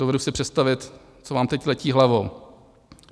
Dovedu si představit, co vám teď letí hlavou.